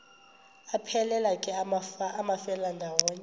aphelela ke amafelandawonye